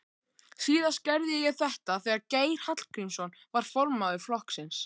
Síðast gerði ég þetta þegar Geir Hallgrímsson var formaður flokksins.